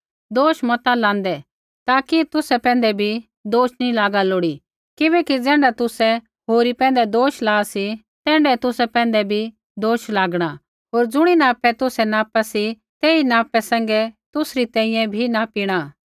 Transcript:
किबैकि ज़ैण्ढा तुसै होरी पैंधै दोष ला सी तैण्ढाऐ तुसा पैंधै भी दोष लागणा होर ज़ुणी नापै तुसै नापा सी तेही नापा सैंघै तुसरी तैंईंयैं भी नापिणा